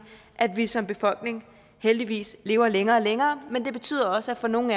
at vi som befolkning heldigvis lever længere og længere men det betyder også at for nogle